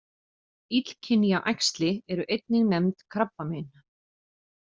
Illkynja æxli eru einnig nefnd krabbamein.